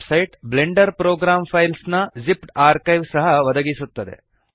ಈ website blender program files ನ zipped archive ಸಹ ಒದಗಿಸುತ್ತದೆ